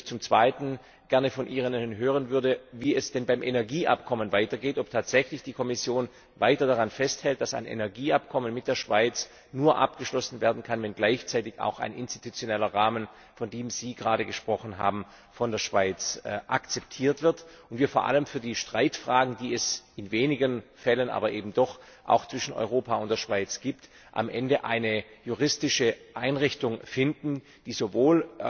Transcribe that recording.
Zum Zweiten würde ich natürlich gerne von Ihnen hören, wie es denn beim Energieabkommen weitergeht, ob tatsächlich die Kommission weiter daran festhält, dass ein Energieabkommen mit der Schweiz nur abgeschlossen werden kann, wenn gleichzeitig auch ein institutioneller Rahmen, von dem Sie gerade gesprochen haben, von der Schweiz akzeptiert wird und wir vor allem für die Streitfragen, die es in wenigen Fällen, aber eben doch, auch zwischen Europa und der Schweiz gibt, am Ende eine juristische Einrichtung finden, die sowohl